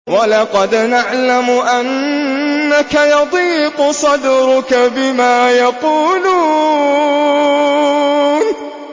وَلَقَدْ نَعْلَمُ أَنَّكَ يَضِيقُ صَدْرُكَ بِمَا يَقُولُونَ